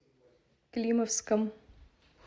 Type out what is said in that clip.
климовском